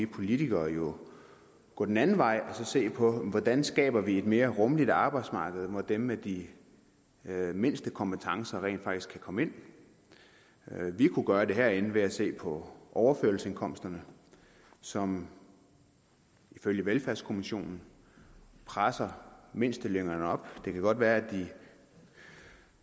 politikere jo gå den anden vej og se på hvordan vi skaber et mere rummeligt arbejdsmarked hvor dem med de mindste kompetencer rent faktisk kan komme ind vi kunne gøre det herinde ved at se på overførselsindkomsterne som ifølge velfærdskommissionen presser mindstelønningerne op det kan godt være